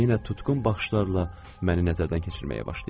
Və yenə tutqun baxışlarla məni nəzərdən keçirməyə başlayırdı.